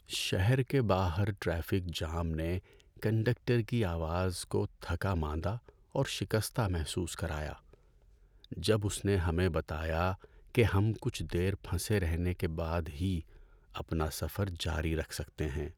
شہر کے باہر ٹریفک جام نے کنڈکٹر کی آواز کو تھکا ماندہ اور شکستہ محسوس کرایا جب اس نے ہمیں بتایا کہ ہم کچھ دیر پھنسے رہنے کے بعد ہی اپنا سفر جاری رکھ سکتے ہیں۔